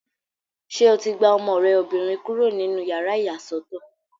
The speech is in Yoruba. Ṣé o ti gba ọmọ rẹ obìnrin kúrò nínú yàrá ìyàsọ́tọ̀?